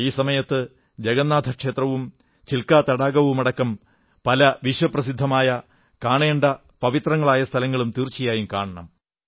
ഈ സമയത്ത് ജഗന്നാഥ ക്ഷേത്രവും ചില്കാ തടാകവും അടക്കം പല വിശ്വപ്രസിദ്ധമായ കാണേണ്ട പവിത്രങ്ങളായ സ്ഥലങ്ങളും തീർച്ചയായും കാണണം